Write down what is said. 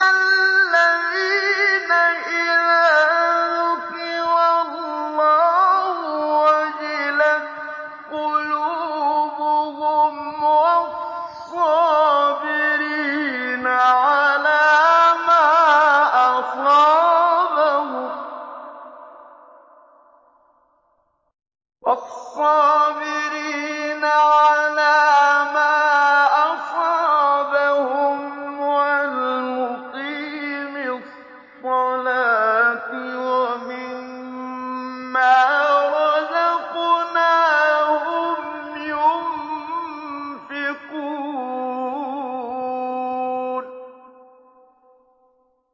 الَّذِينَ إِذَا ذُكِرَ اللَّهُ وَجِلَتْ قُلُوبُهُمْ وَالصَّابِرِينَ عَلَىٰ مَا أَصَابَهُمْ وَالْمُقِيمِي الصَّلَاةِ وَمِمَّا رَزَقْنَاهُمْ يُنفِقُونَ